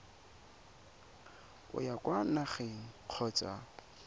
o ya kwa nageng kgotsa